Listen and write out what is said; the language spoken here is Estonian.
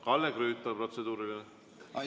Kalle Grünthal, palun, protseduuriline!